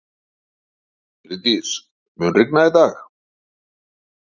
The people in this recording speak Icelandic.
Bryndís, mun rigna í dag?